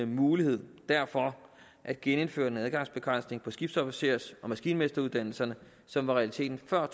mulighed derfor at genindføre den adgangsbegrænsning på skibsofficers og maskinmesteruddannelserne som var realiteten før